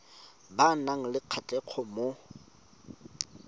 ba nang le kgatlhego mo